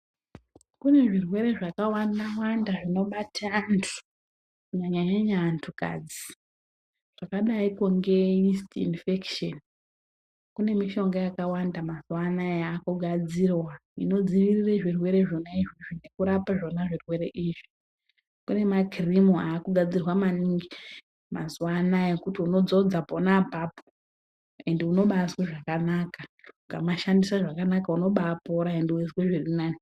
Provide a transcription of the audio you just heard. Kunezvirwere zvakawanda wanda zvinobate antu kunyanya nyanya antu kadzi. Zvakadai kunge inisitendi inifekishoni. Kunemishonga yakawanda mazuva anaya yakugadzirwa ,inodzivirire zvirwere zvona izvezvi nekurapa zvona zvirwere izvi .Kunemakirimu akugadzirwa mazuva anaya ekuti unodzodza pona apapo ende unobazwe zvakanaka. Ukamashandise zvakanaka unobapora ende unozwe zvirinane.